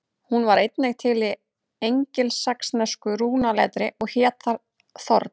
Hún var einnig til í engilsaxnesku rúnaletri og hét þar þorn.